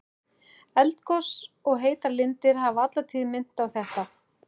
Eldgos og heitar lindir hafa alla tíð minnt á þetta.